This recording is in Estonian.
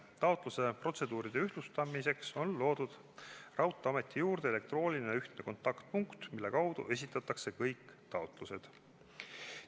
Taotlusprotseduuride ühtlustamiseks on loodud raudteeameti juurde elektrooniline ühtne kontaktpunkt, mille kaudu esitatakse kõik taotlused.